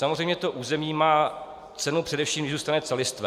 Samozřejmě to území má cenu, především když zůstane celistvé.